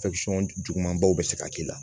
jugumanbaw bɛ se ka k'i la